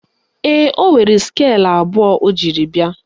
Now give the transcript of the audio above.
Ee, ọ nwere skeelụ abụọ o jiri bịa